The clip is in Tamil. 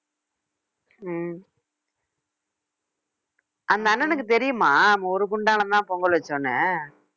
உம் அந்த அண்ணனுக்குத் தெரியுமா நம்ம ஒரு குண்டான்ல தான் பொங்கல் வச்சோம்னு